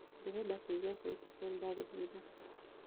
ndĩrenda kuĩgwa sauti sol ndagũhaĩtha